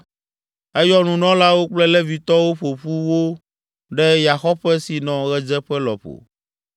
Eyɔ nunɔlawo kple Levitɔwo ƒo ƒu wo ɖe yaxɔƒe si nɔ ɣedzeƒe lɔƒo